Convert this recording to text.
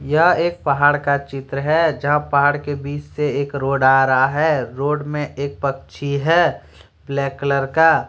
यह एक पहाड़ का चित्र है जहां पहाड़ के बीच से एक रोड आ रहा है रोड में एक पक्षी है ब्लैक कलर का।